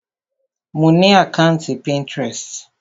Mo ni àkàntí Pinterest.